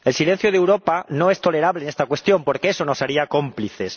El silencio de Europa no es tolerable en esta cuestión, porque eso nos haría cómplices.